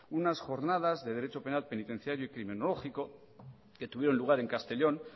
unas jornadas de derecho penal penitenciario y criminológico que tuvieron lugar en castellón